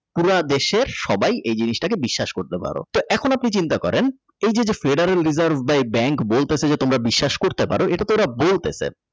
পুরা দেশের সবাই এই জিনিসটাকে বিশ্বাস করতে পারো তো এখন আপনি চিন্তা করেন এই যে যে Treasury reserve bank বলতাছে তোমরা বিশ্বাস করতে পারো এটা তো ওরা বলতাছে।